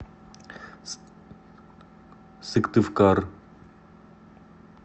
сыктывкар